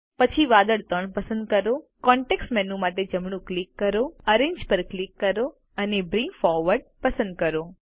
પછી વાદળ 3 પસંદ કરો કોન્ટેક્ષ મેનૂ માટે જમણું ક્લિક કરો એરેન્જ ક્લિક કરો અને બ્રિંગ ફોરવર્ડ પસંદ કરો